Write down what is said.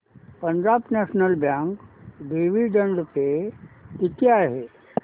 Punjab national bank dividend pay किती आहे